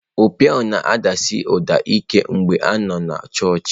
Opi ahụ na-adasi ụda ike mgbe a nọ na chọọchị.